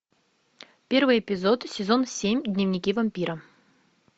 первый эпизод сезон семь дневники вампира